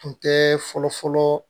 Tun tɛ fɔlɔ fɔlɔ